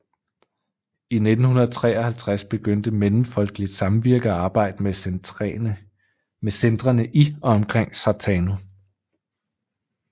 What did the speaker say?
I 1953 begyndte Mellemfolkeligt Samvirke et samarbejde med centrene i og omkring Sartano